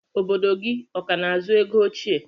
Obodo gi ọkana azụ ego oche?